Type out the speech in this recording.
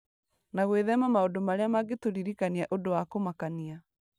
na gwĩthema maũndũ marĩa mangĩtũririkania ũndũ wa kũmakania.